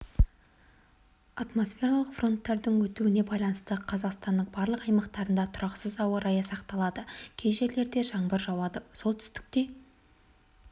атмосфералық фронттардың өтуіне байланысты қазақстанның барлық аймақтарында тұрақсыз ауа райы сақталады кей жерлерде жаңбыр жауады солтүстікте